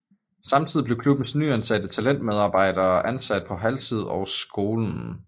Samtidig blev klubbens nyansatte talentmedarbejder ansat på halvtid på skolen